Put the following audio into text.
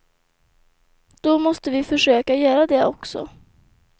Då måste vi försöka göra det också.